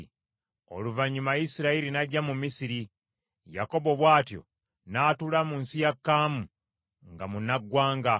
Oluvannyuma Isirayiri n’ajja mu Misiri; Yakobo bw’atyo n’atuula mu nsi ya Kaamu nga munnaggwanga.